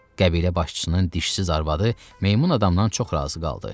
Qəbilə başçısının dişsiz arvadı meymun adamdan çox razı qaldı.